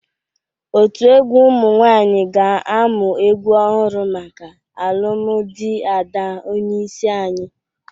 Otu egwu ụmụ nwaanyị ga-amụ egwu ọhụrụ maka alụmdị Ada onyeisi anyị.